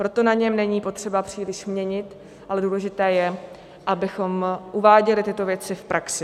Proto na něm není potřeba příliš měnit, ale důležité je, abychom uváděli tyto věci v praxi.